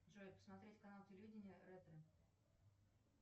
джой посмотреть канал телевидения ретро